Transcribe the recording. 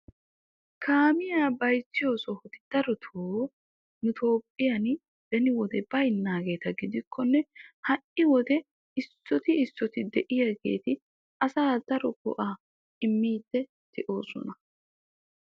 Kaamiya bayzziyoo sohoti darotoo nu Toophphiyan beni wode baynnaageeta gidikkonne ha"i wode issoti issoti de"iyaageeti asaa daro go'aa immiiddi de'oosona.